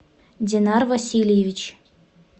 динар васильевич